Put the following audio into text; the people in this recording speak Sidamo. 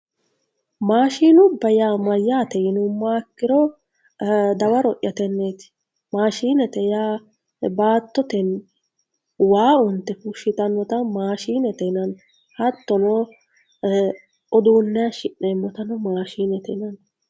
maashinubba mayyaate yinummoha ikkiro dawaro'ya tenneeti maashinete yaa baattote waa unte fushshitannota maashiinete yineemmo hattono, uduunne hayishi'neemmotano maashinete yineemmo.